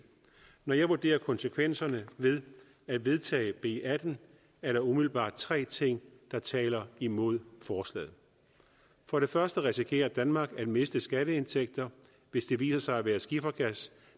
når jeg vurderer konsekvenserne ved at vedtage b atten er der umiddelbart tre ting der taler imod forslaget for det første risikerer danmark at miste skatteindtægter hvis det viser sig at være skifergas